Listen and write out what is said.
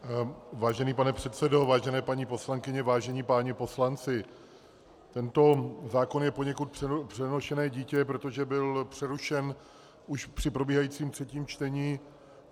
Vážený pane předsedo, vážené paní poslankyně, vážení páni poslanci, tento zákon je poněkud přenošené dítě, protože byl přerušen už při probíhajícím třetím čtení.